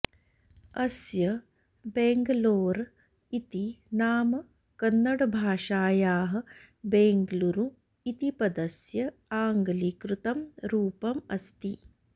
अस्य बेङ्ग्लोर् इति नाम कन्नडभाषायाः बेङ्गलूरु इति पदस्य आङ्ग्लीकृतं रूपम् अस्ति